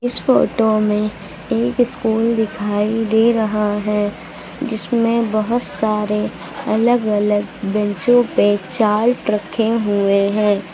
इस फोटो में एक स्कूल दिखाई दे रहा है जिसमें बहुत सारे अलग अलग बैंचों पे चार्ट रखे हुए हैं।